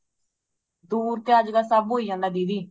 ਦੂਰ ਤੇ ਅੱਜ ਕੱਲ ਸਭ ਹੋਇ ਜਾਂਦਾ ਦੀਦੀ